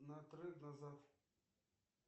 на трек назад